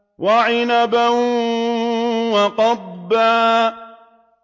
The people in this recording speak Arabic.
وَعِنَبًا وَقَضْبًا